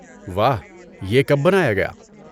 واہ، یہ کب بنایا گیا؟